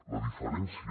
la diferència